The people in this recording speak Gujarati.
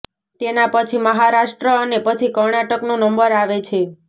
તેના પછી મહારાષ્ટ્ર અને પછી કર્ણાટકનો નંબર આવે છે